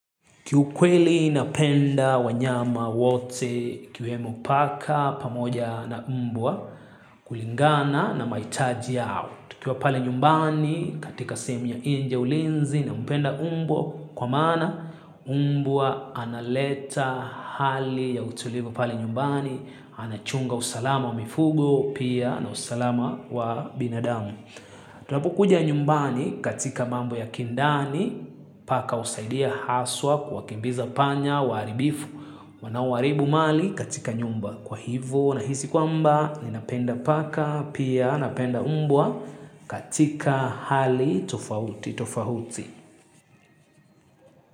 Kiukweli napenda wanyama wote ikiwemo paka pamoja na mbwa kulingana na maitaji yao. Nikiwa pale nyumbani katika sehemu ya nje ya ulinzi nampenda mbwa kwa maana mbwa analeta hali ya utulivu pale nyumbani. Anachunga usalama wa mifugo pia na usalama wa binadamu. Tunapokuja nyumbani katika mambo ya kindani paka husaidia haswa kuwakimbiza panya waaribifu wanaoharibu mali katika nyumba kwa hivo nahisi kwamba ninapenda paka pia napenda umbwa katika hali tofauti tofauti.